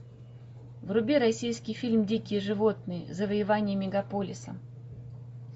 вруби российский фильм дикие животные завоевание мегаполиса